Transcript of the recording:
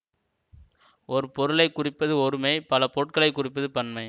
ஒரு பொருளை குறிப்பது ஒருமை பல பொருட்களை குறிப்பது பன்மை